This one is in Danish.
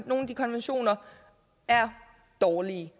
nogle af de konventioner er dårlige